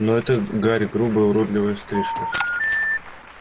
но эта гарь грубая уродливая стрижка